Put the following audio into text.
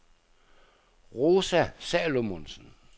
Rosa Salomonsen